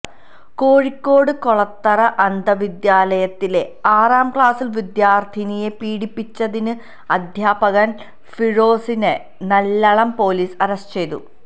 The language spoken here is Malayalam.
കോഴിക്കോട് കൊളത്തറ അന്ധവിദ്യാലത്തിലെ ആറാം ക്ലാസ് വിദ്യാർത്ഥിനിയെ പീഡിപ്പിച്ചതിന് അധ്യാപകൻ ഫിറോസിനെ നല്ലളം പോലീസ് അറസ്റ്റ് ചെയ്തു